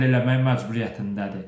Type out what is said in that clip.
Bunu həll eləmək məcburiyyətindədir.